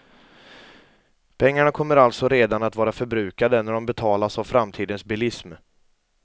Pengarna kommer alltså redan att vara förbrukade när de betalas av framtidens bilism.